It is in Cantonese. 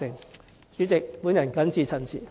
代理主席，我謹此陳辭。